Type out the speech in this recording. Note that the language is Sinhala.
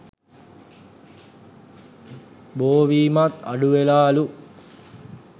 බෝවීමත් අඩුවෙලාලු